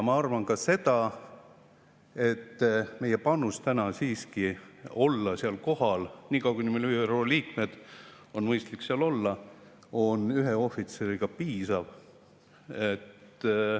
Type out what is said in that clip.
Ma arvan ka seda, et meie panus olla seal siiski ühe ohvitseriga kohal – niikaua kui me oleme ÜRO liikmed, on mõistlik seal olla – on piisav.